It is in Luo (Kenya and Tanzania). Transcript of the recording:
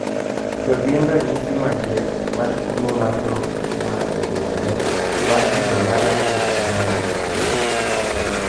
To gin ranyisi mage mar tuo mar nok mar obuongo, mar kido mar Aferika ma Nyaduat